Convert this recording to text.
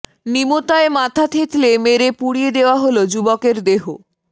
নিমতায় মাথা থেঁতলে মেরে পুড়িয়ে দেওয়া হল যুবকের দেহ